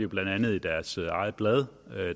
blandt andet i deres eget blad